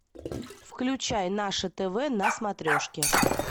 включай наше тв на смотрешке